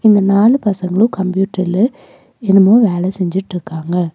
இந்த நாலு பசங்களு கம்ப்யூட்டர்ல என்னமோ வேல செஞ்சிட்ருக்காங்க.